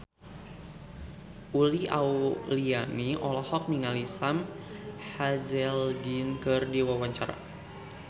Uli Auliani olohok ningali Sam Hazeldine keur diwawancara